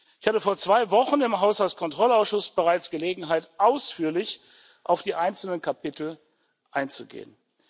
Ich hatte vor zwei Wochen im Haushaltskontrollausschuss bereits Gelegenheit, ausführlich auf die einzelnen Kapitel einzugehen.